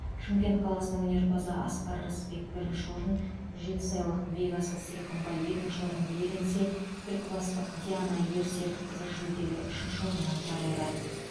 шымкент қаласының өнерпазы асқар рысбек бірінші орын жетісайлық бекасыл сыйқымбай екінші орынды иеленсе түлкібастық диана ерсерікқызы жүлделі үшінші орыннан табылды